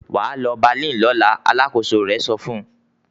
"Wà á lọ Berlin lọ́la!" Alákòóso rẹ̀ sọ fún un.